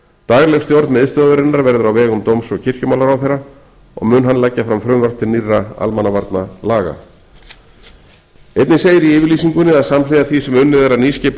dagleg stjórn miðstöðvarinnar verður á vegum dóms og kirkjumálaráðherra og mun hann leggja fram frumvarp til nýrra almannavarnalaga einnig segir í yfirlýsingunni að samhliða því sem unnið er að nýskipan